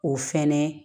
O fɛnɛ